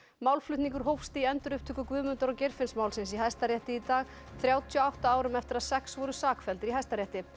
málflutningur hófst í endurupptöku Guðmundar og Geirfinnsmálsins í Hæstarétti í dag þrjátíu og átta árum eftir að sex voru sakfelldir í Hæstarétti